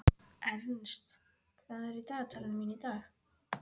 Ernst, hvað er í dagatalinu mínu í dag?